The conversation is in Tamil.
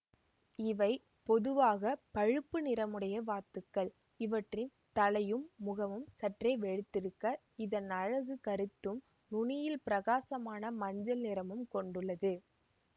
இவை பொதுவாக பழுப்பு நிறமுடைய வாத்துக்கள் இவற்றின் தலையும் முகமும் சற்றே வெளுத்திருக்க இதன் அலகு கருத்தும் நுனியில் பிரகாசமான மஞ்சள் நிறமும் கொண்டுள்ளது